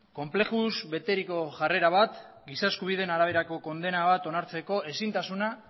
konplexuz beteriko jarrera bat giza eskubideen araberako kondena bat onartzeko ezintasuna